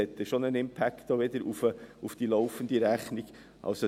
Dies wird dann wiederum einen Einfluss auf die laufende Rechnung haben.